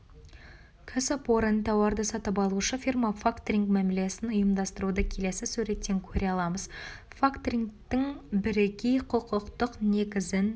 кәсіпорын тауарды сатып алушы фирма фактоинг мәмілесін ұйымдастыруды келесі суреттен көре аламыз факторингтің бірегей құқықтық негізін